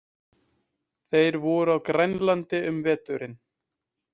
Þeir voru á Grænlandi um veturinn.